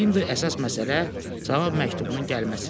İndi əsas məsələ cavab məktubunun gəlməsi idi.